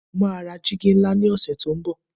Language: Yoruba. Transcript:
mo ma ra jìgì nla ni ọsẹ ti o nbo